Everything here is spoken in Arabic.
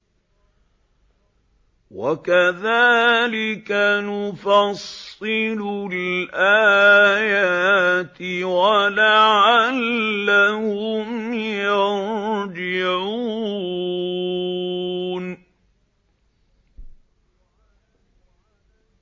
وَكَذَٰلِكَ نُفَصِّلُ الْآيَاتِ وَلَعَلَّهُمْ يَرْجِعُونَ